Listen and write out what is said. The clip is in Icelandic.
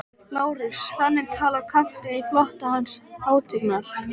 LÁRUS: Þannig talar kafteinn í flota Hans hátignar?